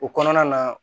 O kɔnɔna na